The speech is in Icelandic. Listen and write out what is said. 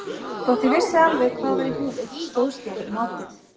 Þótt ég vissi alveg hvað var í húfi stóðst ég ekki mátið.